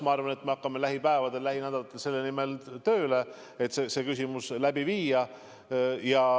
Ma arvan, et me hakkame lähipäevadel, lähinädalatel selle nimel tööle, et see küsitlus läbi viia.